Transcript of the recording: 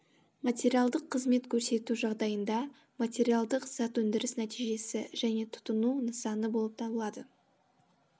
материалдық қызмет көрсету жағдайында материалдық зат өндіріс нәтижесі және тұтыну нысаны болып табылады